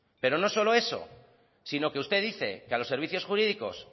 pero no solo eso sino que usted dice que a los servicios jurídicos